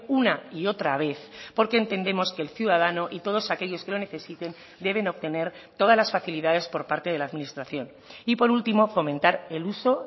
una y otra vez porque entendemos que el ciudadano y todos aquellos que lo necesiten deben obtener todas las facilidades por parte de la administración y por último fomentar el uso